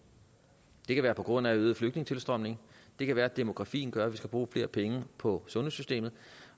det kan være på grund af en øget flygtningetilstrømning det kan være demografien gør at der skal bruges flere penge på sundhedssystemet